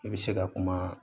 I bɛ se ka kuma